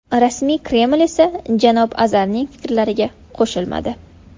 Rasmiy Kreml esa janob Azarning fikrlariga qo‘shilmadi.